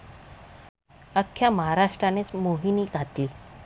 अख्ख्या महाराष्ट्रानेच मोहिनी घातली.